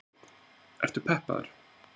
Þorbjörn: Ertu peppaður?